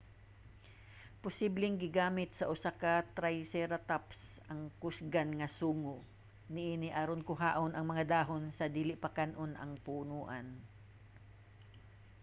posibleng gigamit sa usa ka triceratops ang kusgan nga sungo niini aron kuhaon ang mga dahon sa dili pa kan-on ang punoan